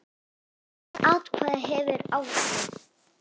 Hvert atkvæði hefur áhrif.